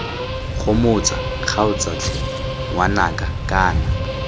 gomotsa kgaotsa tlhe ngwanaka kana